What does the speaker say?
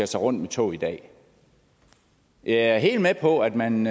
sig rundt med tog i dag jeg er helt med på at man